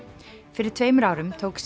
fyrir tveimur árum tók